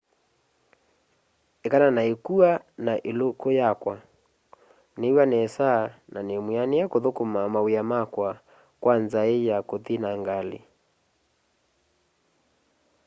ekana na ikua na iluku yi woo niiw'a nesa na nimwianie kuthukuma mawia makwa kwa nzai ya kuthi na ngali